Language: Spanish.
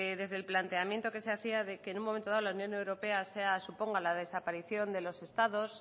desde el planteamiento que se hacía de que en un momento dado la unión europea suponga la desaparición de los estados